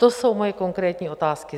To jsou moje konkrétní otázky.